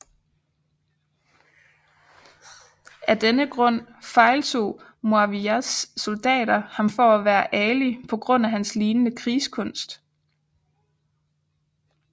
Af denne grund fejl tog Muawiyas soldater ham for at være Ali på grund af hans lignende krigskunst